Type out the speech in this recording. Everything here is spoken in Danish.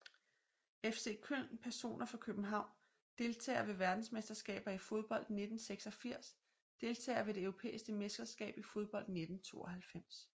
FC Köln Personer fra København Deltagere ved verdensmesterskabet i fodbold 1986 Deltagere ved det europæiske mesterskab i fodbold 1992